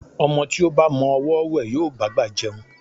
Ọmọ tí ó ba mọ ọwọ́ wẹ̀, yóò bá'gbà jẹun.